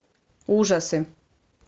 ужасы